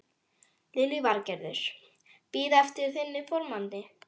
Lillý Valgerður: Bíða eftir þínum formanni?